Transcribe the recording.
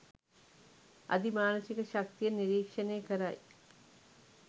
අධිමානසික ශක්තියෙන් නිරික්ෂණය කරයි.